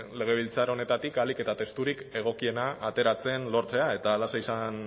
legebiltzar honetatik ahalik eta testurik egokiena ateratzen lortzea eta halaxe izan